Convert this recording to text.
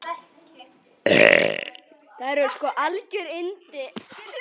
Þær eru sko algjör yndi.